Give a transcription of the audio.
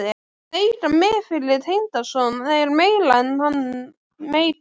Að eiga mig fyrir tengdason er meira en hann meikar.